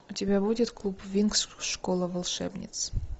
у тебя будет клуб винкс школа волшебниц